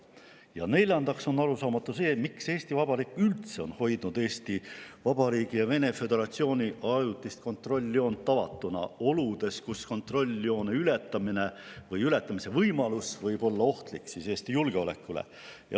Ja neljandaks on arusaamatu, miks Eesti Vabariik üldse on hoidnud Eesti Vabariigi ja Vene föderatsiooni ajutist kontrolljoont avatuna oludes, kus kontrolljoone ületamine või ületamise võimalus võib olla ohtlik Eesti julgeolekule.